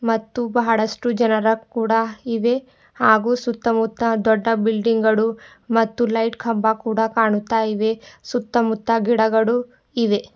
ಮತ್ತು ಬಹಳಷ್ಟು ಜನರ ಕೂಡ ಇವೆ ಹಾಗೂ ಸುತ್ತಮುತ್ತ ದೊಡ್ಡ ಬಿಲ್ಡಿಂಗ್ ಗಳು ಮತ್ತು ಲೈಟ್ ಕಂಬ ಕೂಡ ಕಾಣುತ್ತಾ ಇವೆ ಸುತ್ತ ಮುತ್ತ ಗಿಡಗಳು ಇವೆ.